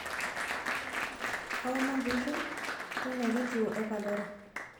kaaomon piishum te ena kituo ee pandora